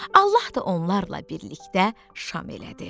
Allah da onlarla birlikdə şam elədi.